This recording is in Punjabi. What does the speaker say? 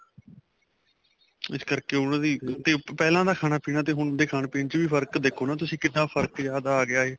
ਇਸ ਕਰਕੇ ਉਹਨਾ ਦੀ ਪਹਿਲਾਂ ਦਾ ਖਾਣਾ ਪੀਣਾ ਤੇ ਹੁਣ ਦੇ ਖਾਣੇ ਪੀਣੇ ਚ ਫ਼ਰਕ ਦੇਖੋ ਤੁਸੀਂ ਕਿੰਨਾ ਫ਼ਰਕ ਜਿਆਦਾ ਆ ਗਿਆ ਏ